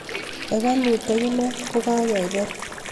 hekalut akine ko kakekeer